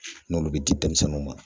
u bɛ di denmisɛnninw ma.